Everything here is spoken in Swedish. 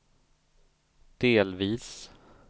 delvis